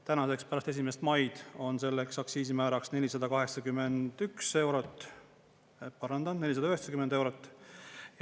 Tänaseks pärast 1. maid on selleks aktsiisimääraks 490 eurot.